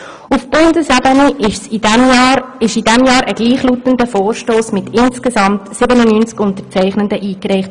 Auf Bundesebene wurde in diesem Jahr ein gleichlautender Vorstoss mit insgesamt 97 Unterzeichnenden eingereicht.